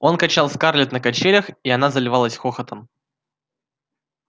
он качал скарлетт на качелях и она заливалась хохотом